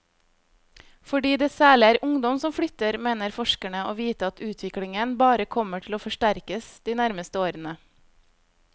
Fordi det særlig er ungdom som flytter, mener forskerne å vite at utviklingen bare kommer til å forsterkes de nærmeste årene.